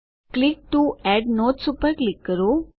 click to add notes ઉપર click કરો